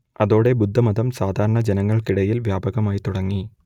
അതോടെ ബുദ്ധമതം സാധാരണ ജനങ്ങൾക്കിടയിൽ വ്യാപകമായിത്തുടങ്ങി